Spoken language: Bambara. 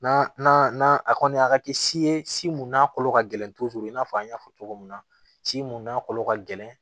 Na a kɔni a ka kɛ si ye si mun n'a kolo ka gɛlɛn i n'a fɔ an y'a fɔ cogo min na si mun n'a kolo ka gɛlɛn